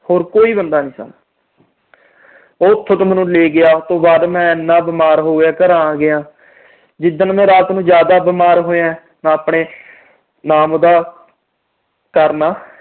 ਹੋਰ ਕੋਈ ਬੰਦਾ ਨੀ ਥਾ। ਉਹ ਉਥੋਂ ਦੀ ਮੈਨੂੰ ਲੈ ਗਿਆ, ਮੈਂ ਇੰਨਾ ਬੀਮਾਰ ਹੋ ਗਿਆ, ਘਰਾਂ ਆ ਗਿਆ। ਜਿਦਨ ਮੈਂ ਰਾਤ ਨੂੰ ਜਿਆਦਾ ਬੀਮਾਰ ਹੋਇਆ, ਮੈਂ ਆਪਣੇ ਨਾਮ ਉਹਦਾ ਕਰਮਾ